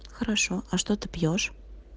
хорошо а что ты пьёшь